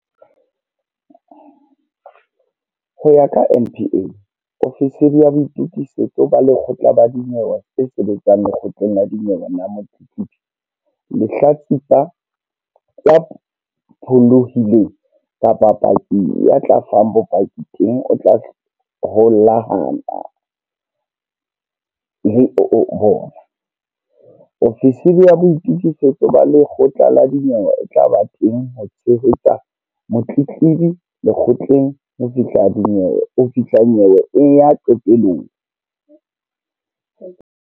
Ho ya ka NPA, ofisiri ya boitukisetso ba lekgotla la dinyewe e sebetsang lekgotleng la dinyewe le motletlebi, lehlatsipa, ya pholohileng kapa paki a tla fang bopaki teng o tla holahana le bona. Ofisiri ya boitokisetso ba lekgotla la dinyewe e tla ba teng ho tshehetsa motletlebi lekgotleng ho fihla nyewe e ya qetelong.